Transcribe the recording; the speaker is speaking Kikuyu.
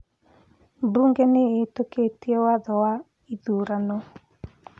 Mbunge nĩ ĩhĩtũkĩtie watho wa ithurano